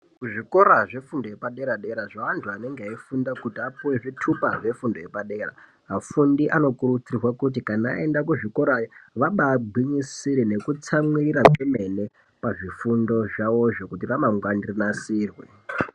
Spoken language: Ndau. Kuzvikora zvefundo yepadera dera zveantu anenge eifunda kuti apuwe zvitupa zvefundo yepadera afundi vanokurudzirwa kuti kana aenda kuzvikorayo vaba gwinyisire nekutsamwirira kwemene pazvifundo zvavozvo kuti ramangwani rinasirwe.